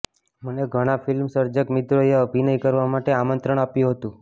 મને ઘણા ફિલ્મસર્જક મિત્રોએ અભિનય કરવા માટે આમંત્રણ આપ્યું હતું